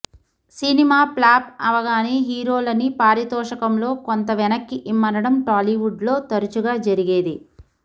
cinema flop అవగానే హీరోలని పారితోషికంలో కొంత వెనక్కి ఇమ్మనడం టాలీవుడ్లో తరచుగా జరిగేదే